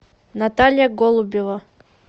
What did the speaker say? наталья голубева